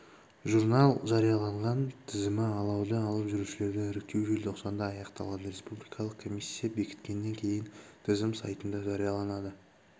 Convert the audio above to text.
журнал жариялаған тізімі алауды алып жүрушілерді іріктеу желтоқсанда аяқталады республикалық комиссия бекіткеннен кейін тізім сайтында жарияланады